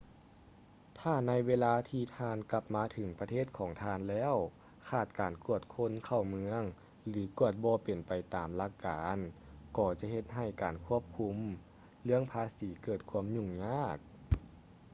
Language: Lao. ຖ້າໃນເວລາທີ່ທ່ານກັບມາເຖິງປະເທດຂອງທ່ານແລ້ວຂາດການກວດຄົນເຂົ້າເມືອງ ຫຼື ກວດບໍ່ເປັນໄປຕາມຫຼັກການກໍຈະເຮັດໃຫ້ການຄວບຄຸມເລື່ອງພາສີເກີດຄວາມຫຍຸ້ງຍາກ